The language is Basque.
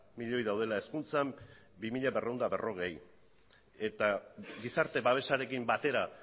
milioi daudela hezkuntzan bi mila berrehun eta berrogei eta gizarte babesarekin batera